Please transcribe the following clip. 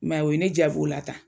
I m'a ye o ye ne jaab'o la tan.